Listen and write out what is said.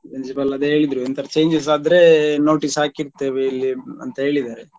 Principal ಅದೇ ಹೇಳಿದ್ರು ಎಂತಾದ್ರೂ changes ಆದ್ರೆ notice ಹಾಕಿರ್ತೇವೆ ಇಲ್ಲೇ ಅಂತ ಹೇಳಿದಾರೆ.